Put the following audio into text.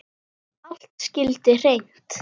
Allt skyldi hreint.